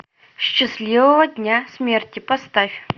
счастливого дня смерти поставь